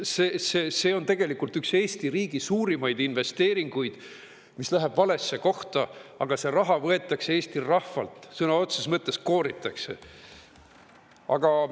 See on tegelikult üks Eesti riigi suurimaid investeeringuid, mis läheb valesse kohta, aga see raha võetakse Eesti rahvalt, sõna otseses mõttes kooritakse.